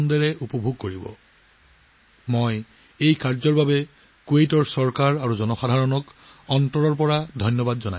Kuwait চৰকাৰ আৰু এই উল্লেখযোগ্য পদক্ষেপ গ্ৰহণ কৰা লোকসকলক মই আন্তৰিকতাৰে ধন্যবাদ জনাইছো